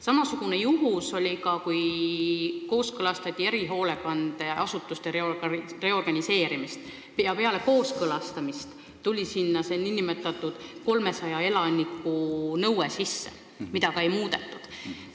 Sama juhtus ka siis, kui kooskõlastati erihoolekandeasutuste reorganiseerimist: peale kooskõlastamist tuli sinna sisse nn 300 elaniku nõue, mida ei muudetud.